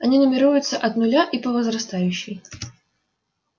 они нумеруется от нуля и по возрастающей